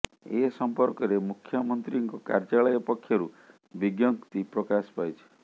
ଏ ସମ୍ପର୍କରେ ମୁଖ୍ୟମନ୍ତ୍ରୀଙ୍କ କାର୍ଯ୍ୟାଳୟ ପକ୍ଷରୁ ବିଜ୍ଞପ୍ତି ପ୍ରକାଶ ପାଇଛି